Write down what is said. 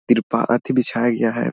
तिरपाल आदि बिछाया गया है ।